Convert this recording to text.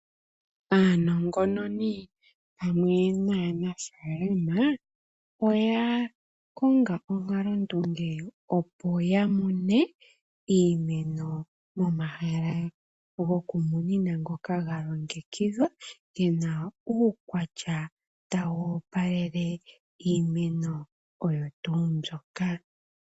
Aanongononi pamwe nanafalama oya kongapo onkalo ndunge opo yamone iimeno momahala gokumunina ngoka galongekidhwa, yina uukwatya tawu opalele iimeno oyo tuu mbyoka.